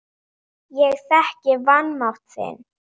Ég þekki vanmátt þinn.